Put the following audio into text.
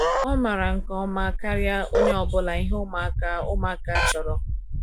o mara nke ọma karia onye ọbula ihe ụmụaka ụmụaka chọrọ